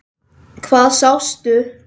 Hvað sástu?